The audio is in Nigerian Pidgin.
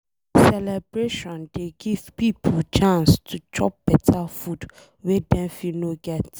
Celebration dey give pipo chance to chop beta food wey Dem fit no get.